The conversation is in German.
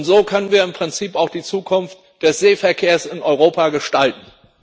So können wir im Prinzip auch die Zukunft des Seeverkehrs in Europa gestalten.